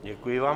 Děkuji vám.